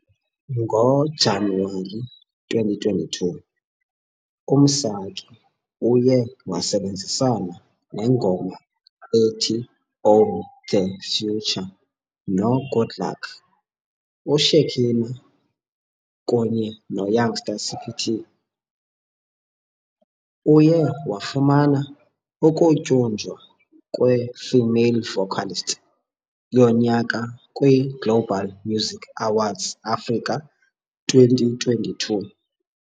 NgoJanuwari 2022, uMsaki uye wasebenzisana nengoma ethi Own The Future noGoodluck, uShekhinah, kunye noYoungstaCPT. Uye wafumana ukutyunjwa kweFemale Vocalist yoNyaka kwiGlobal Music Awards Africa 2022.